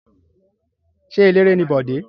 Ṣé eléré ni Bọ̀dé?